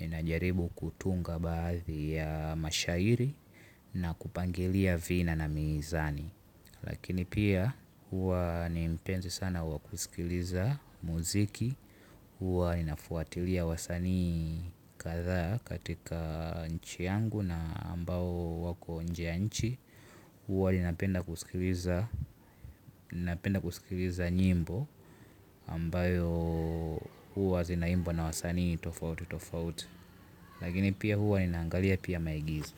Ninajaribu kutunga baadhi ya mashairi na kupangilia vina na mizani. Lakini pia huwa ni mpenzi sana wa kusikiliza muziki. Huwa inafuatilia wasanii kadhaa katika nchi yangu na ambao wako nje ya nchi. Huwa ninapenda kusikiliza nyimbo ambayo huwa zinaimbwa na wasani tofauti tofauti. Lakini pia huwa ninaangalia pia maigizo.